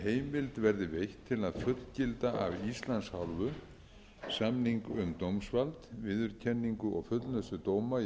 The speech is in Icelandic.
að fullgilda af íslands hálfu samning um dómsvald viðurkenningu og fullnustu dóma í